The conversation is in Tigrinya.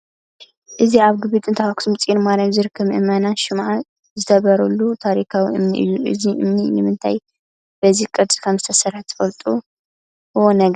እዚ ኣብ ግቢ ጥንታዊ ኣኽሱም ፅዮን ማርያም ዝርከብ ምእመናን ሽምዓ ዝተብሩሉ ታሪካዊ እምኒ እዩ፡፡ እዚ እምኒ ንምንታይ በዚ ቅርፂ ከምዝተሰርሐ ትፈልጥዎ ነገር ኣሎ ዶ?